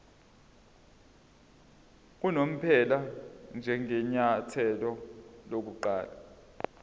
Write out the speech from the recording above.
unomphela njengenyathelo lokuqala